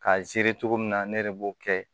K'a cogo min na ne de b'o kɛ